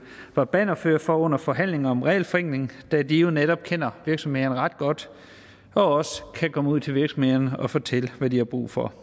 var bannerførere for under forhandlingerne om regelforenklingen da de jo netop kender virksomhederne ret godt og også kan komme ud til virksomhederne og fortælle hvad de har brug for